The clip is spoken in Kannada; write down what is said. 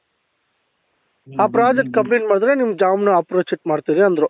ಅ project complete ಮಾಡುದ್ರೆ ನಿಮ್ job ನ approach check ಮಾಡ್ತೀನಿ ಅಂದ್ರು